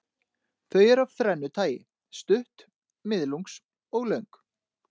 Þau eru af þrennu tagi, stutt, miðlungs og löng.